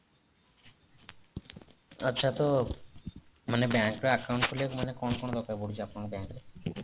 ଆଚ୍ଛା ତ ମାନେ bank ର account ଖୋଲିବାକୁ କଣ କଣ ଦରକାର ପଡୁଛି ଆପଣଙ୍କ bankରେ